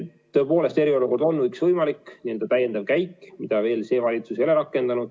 Tõepoolest, eriolukord on üks võimalik täiendav käik, mida veel see valitsus ei ole rakendanud.